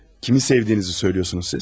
Kimi sevdiyinizi söyləyirsiniz siz?